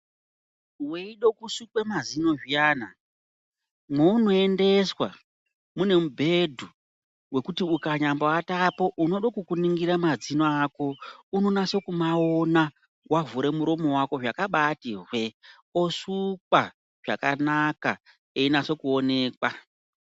Weide kusukwe mazino zviyana mweunoendeswa mune mubhedhu Wekuti ukanyamboaatapo unodokukuningira mazino ako unonaso kumaona wavhure muromo wako zvakabati hwee osukwa zvakanaka einase kuonekwa.